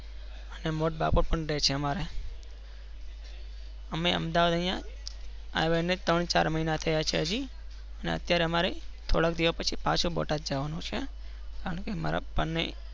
અને મોટો બાબો પણ રહે રેહ છે. અમારા અમે અમાદાવાર આવ્યા ત્રણ ચાર મહિના થયા છે હજી ને અત્યારે અમારે થોડા દિવસ પસી પાછુ બોટાદ જવા નું છે કારણ કે મારા